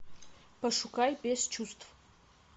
пошукай без чувств